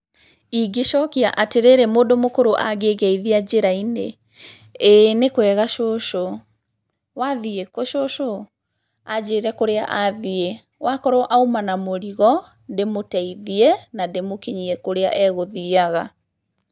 Ingĩcokia atĩrĩrĩ mũndũ mũkũrũ angĩngeithia njĩra-inĩ, "ĩĩ nĩ kwega cũcũ, wathiĩ kũ cũcũ?" Anjĩre kũrĩa athiĩ, wakorwo auma na mũrigo, ndĩmũteithie na ndĩmũkinyie kũrĩa agũthiaga.